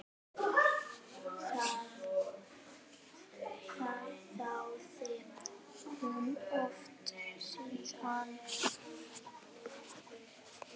Það þáði hún oft síðar.